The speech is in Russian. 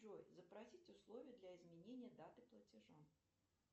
джой запросить условия для изменения даты платежа